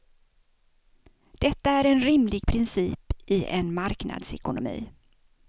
Detta är en rimlig princip i en marknadsekonomi.